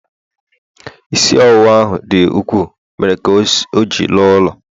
isi ọwụwa ahụ dị ukwuu, mere ka ọ ji la n'ụlọ